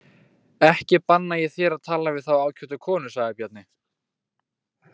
Ekki banna ég þér að tala við þá ágætu konu, sagði Bjarni.